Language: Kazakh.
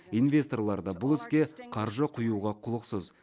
инвесторлар да бұл іске қаржы құюға құлықсыз